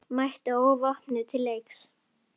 Mætti óvopnuð til leiks.